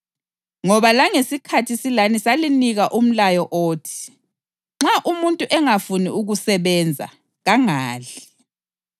Ngoba langesikhathi silani salinika umlayo othi: “Nxa umuntu engafuni ukusebenza, kangadli.”